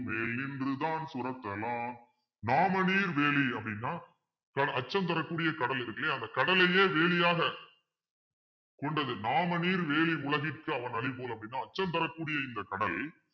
மேநின்று தாஞ்சுரத்த லான் நாமநீர் வேலி அப்பிடின்னா க~ அச்சம் தரக்கூடிய கடல் இருக்கு இல்லையா அந்த கடலையே வேலியாக கொண்டது நாமநீர் வேலி உலகிற்கு அவனளிபோல் அப்படின்னா அச்சம் தரக்கூடிய இந்த கடல்